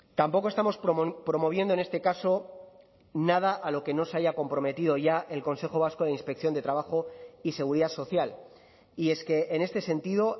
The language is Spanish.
tampoco estamos promoviendo en este caso nada a lo que no se haya comprometido ya el consejo vasco de inspección de trabajo y seguridad social y es que en este sentido